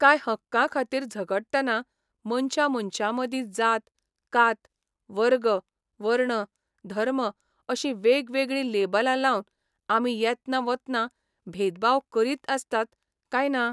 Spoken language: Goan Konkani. काय हक्कां खातीर झगडटना मनशा मनशा मदीं जात, कात, वर्ग, वर्ण, धर्म अशीं वेगवेगळीं लेबलां लावन आमी येतना वतना भेदभाव करीत आसतात काय ना?